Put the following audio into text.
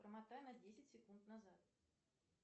промотай на десять секунд назад